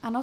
Ano.